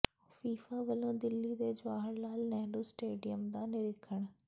FIFA ਵੱਲੋਂ ਦਿੱਲੀ ਦੇ Jawahar Lal Nehru stadium ਦਾ ਨਿਰੀਖਣ